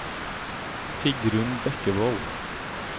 Sigrunn Bekkevold